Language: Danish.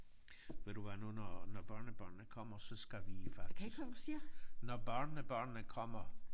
Ved du hvad nu når når børnebørnene kommer så skal vi faktisk når børnebørnene kommer